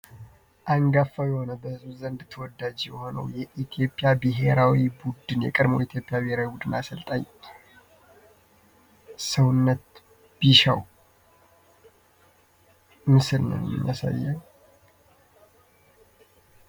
አንጋፋና በህዝቡ በጣም ተወዳጅ የሆኑ የቀድሞ የኢትዮጵያ ብሔራዊ ቡድን አሰልጣኝ ሰውነት ቢሻው ምስል ነው ይመስለኛል።